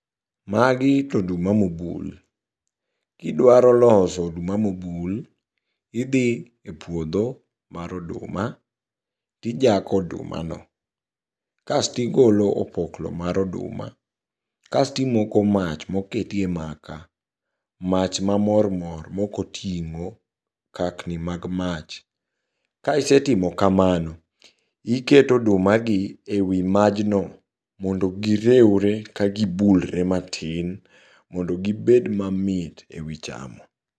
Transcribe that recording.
Magi to oduma mobul, kidwaro loso oduma mobul, idhi e puodho mar oduma, tijako odumano. Kastigolo opoklo mar oduma, kastimoko mach moketie maka, mach mamor mor mokoting'o kakni mag mach. Kaisetimo kamano, iketo odumagi e wi majno mondo gireure kagibulre matin mondo gibed mamit e wi chamo.